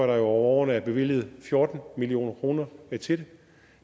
der over årene at bevilget fjorten million kroner til det